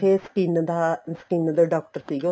skin ਦਾ doctor skin ਦਾ doctor ਸੀਗਾ